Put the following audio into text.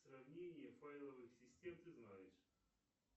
сравнение файловых систем ты знаешь